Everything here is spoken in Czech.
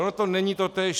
Ale to není totéž.